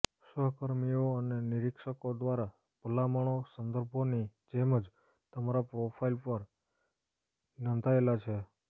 સહકર્મીઓ અને નિરીક્ષકો દ્વારા ભલામણો સંદર્ભોની જેમ જ તમારા પ્રોફાઇલ પર નોંધાયેલા છે